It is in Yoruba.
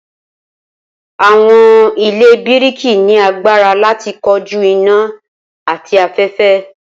awọn ile biriki ni agbara lati koju ina ati afẹfẹ.